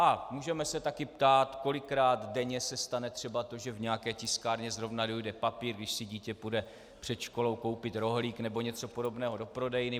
A můžeme se také ptát, kolikrát denně se stane třeba to, že v nějaké tiskárně zrovna dojde papír, když si dítě půjde před školou koupit rohlík nebo něco podobného do prodejny.